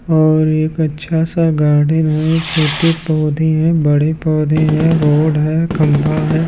और एक अच्छा सा गार्डन है छोटे पौधे हैं बड़े पौधे हैं रोड है खंभा है।